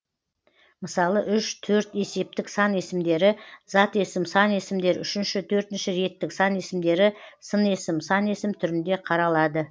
мысалы үш төрт есептік сан есімдері зат есім сан есімдер үшінші төртінші реттік сан есімдері сын есім сан есім түрінде қаралады